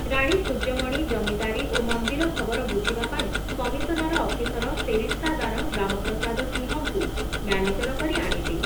ରାଣୀ ସୂର୍ଯ୍ୟମଣି ଜମିଦାରୀ ଓ ମନ୍ଦିର ଖବର ବୁଝିବା ପାଇଁ କମିଶନର ଅଫିସର ସେରିସ୍ତାଦାର ରାମପ୍ରସାଦ ସିଂହଙ୍କୁ ମ୍ୟାନେଜର କରି ଆଣିଲେ ।